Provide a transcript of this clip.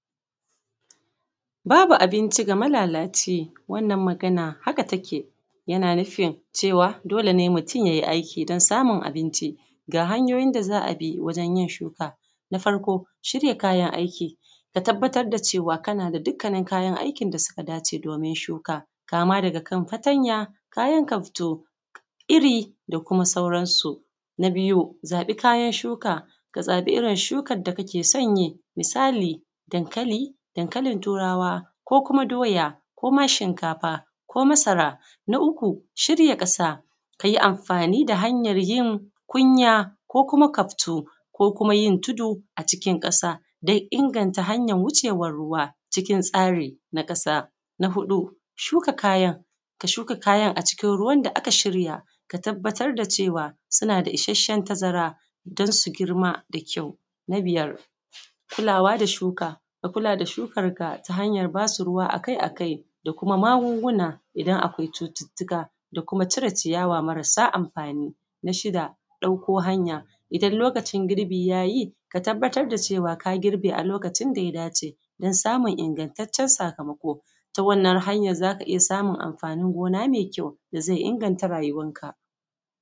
Babu abinci ga malalaci wannan magana haka take yana nufin cewa dole mutun ya yi aiki don samun abinci, ga hanyoyin da za a bi wajen yin shuka shirya Kayan aiki ka tabbatar da cewa kana da dukkanin kayan aikin da suka dace kama daga kan fatanya da kayan kaftu iri da kuma sauransu. Na biyu zaɓi kayan shuka ka shuka irin shukar da kake son yi, misali: dankali da dankali turawa da kuma doya da kuma shinkafa ko masara. Na uku shirya ƙasa ka yi amfani da hanyar yin kunya ko kuma kaftu ko kuma yin tudu a cikin ƙasa don inganta hanyar wucewar ruwa cikin tsari na ƙasa. Na huɗu shuka kayan, ka shuka kayan a cikin, ka shuka kayan a cikin ruwan da aka shirya ka tabbatar da cewa suna da isasshen tazara don su girma da ƙyau. Na biyar kulawa da shuka, kulawa da shuka ta hanyar ba su ruwa a kai a kai da kuma magunguna idan akwai cututtuka da kuma cire ciyawa marasa amfani. Na shida ɗauko hanya idan lokacin girbi ya yi ka tabbatar da cewa ka girbe a lokacin da ya dace don samun ingantaccen sakamako. Ta wannan hanyar za ka iya samun amfanin gona mai ƙyau ka inganta rayuwar ka.